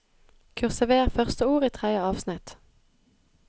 Kursiver første ord i tredje avsnitt